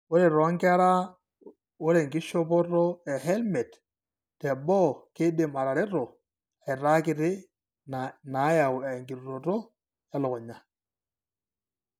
Ore toonkera, ore enkishopoto ehelmet teboo keidim atareto aitaakiti inaayau enkirutoto elukunya.